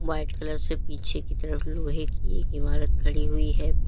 White colour से पीछे की तरफ लोहे की एक इमारत खड़ी हुई है।